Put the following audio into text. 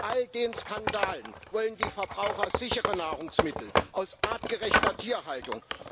Nach all den Skandalen wollen die Verbraucher sichere Nahrungsmittel aus artgerechter Tierhaltung.